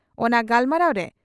ᱚᱱᱟ ᱜᱟᱞᱢᱟᱨᱟᱣ ᱨᱮ